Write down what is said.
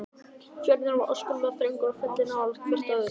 Fjörðurinn var óskaplega þröngur og fjöllin nálægt hvert öðru.